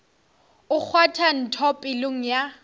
o kgwatha ntho pelong ya